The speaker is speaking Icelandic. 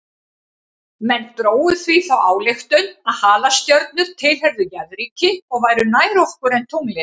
Menn drógu því þá ályktun að halastjörnur tilheyrðu jarðríki og væru nær okkur en tunglið.